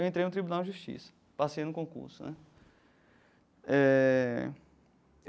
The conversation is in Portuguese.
Eu entrei no Tribunal de Justiça, passei no concurso né eh.